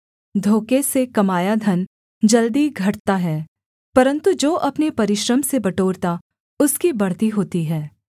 धोखे से कमाया धन जल्दी घटता है परन्तु जो अपने परिश्रम से बटोरता उसकी बढ़ती होती है